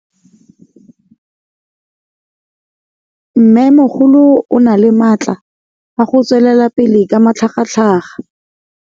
Mmêmogolo o na le matla a go tswelela pele ka matlhagatlhaga.